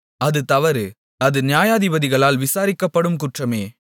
அது தவறு அது நியாயாதிபதிகளால் விசாரிக்கப்படும் குற்றமாமே